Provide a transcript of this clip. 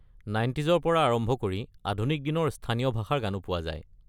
নাইনটিজৰ পৰা আৰম্ভ কৰি আধুনিক দিনৰ স্থানীয় ভাষাৰ গানো পোৱা যায়।